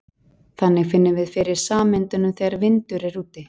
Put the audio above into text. Þannig finnum við fyrir sameindunum þegar vindur er úti.